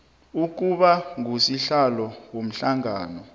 ukuba ngusihlalo womhlangano